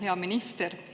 Hea minister!